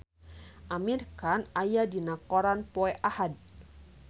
Amir Khan aya dina koran poe Ahad